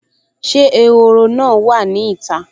Ṣé ehoro náà wà ní ìta?